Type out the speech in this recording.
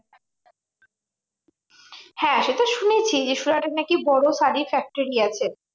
হ্যাঁ সেতো শুনেছি যে, সুরাটে নাকি বড় শাড়ীর factory আছে।